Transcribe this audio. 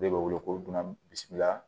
De bɛ wele ko dunan bisimila